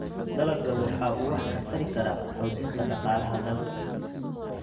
Dalaggu waxa uu wax ka tari karaa xoojinta dhaqaalaha dalka.